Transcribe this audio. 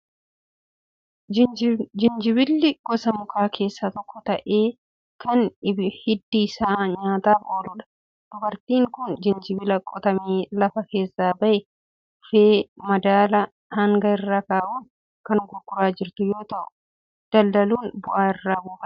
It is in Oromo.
Jijinbilli gosa mukaa keessaa tokko ta'ee kan hiddi isaa nyaataaf ooludha. Dubartiin kun jijinbila qotamee lafa keessaa bahee dhufe, madaala hangaa irra kaa'uun kan gurguraa jirtu yoo ta'u, daldaluun bu'aa irraa buufatti.